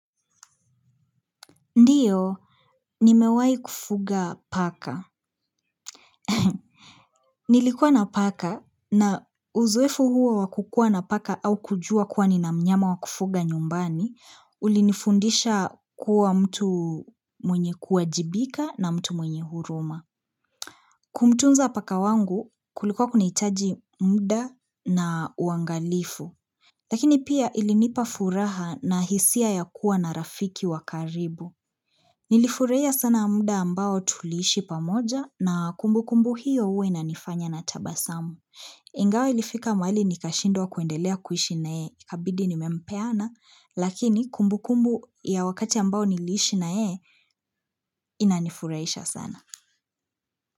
Ndiyo, nimewai kufuga paka. Nilikuwa na paka na uzoefu huo wa kukuwa na paka au kujua kuwa nina mnyama wa kufuga nyumbani, ulinifundisha kuwa mtu mwenye kuajibika na mtu mwenye huruma. Kumtunza paka wangu kulikuwa kunahitaji muda na uangalifu. Lakini pia ilinipa furaha na hisia ya kuwa na rafiki wa karibu. Nilifurahia sana muda ambao tuliishi pamoja na kumbukumbu hiyo huwa inanifanya na tabasamu. Ingawa ilifika mahali nikashindwa kuendelea kuishi naye ikabidi nimempeana lakini kumbukumbu ya wakati ambao niliishi naye inanifurahisha sana.